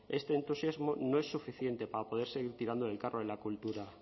este entusiasmo no es suficiente para poder seguir tirando del carro en la cultura